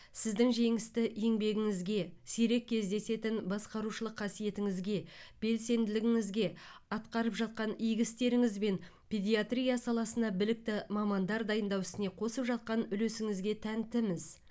сіздің жемісті еңбегіңізге сирек кездесетін басқарушылық қасиетіңізге белсенділігіңізге атқарып жатқан игі істеріңізбен педиатрия саласына білікті мамандар дайындау ісіне қосып жатқан үлесіңізге тәнтіміз